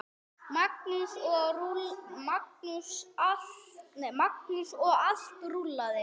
Magnús: Og allt rúllað?